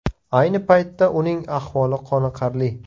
Ayni paytda uning ahvoli qoniqarli.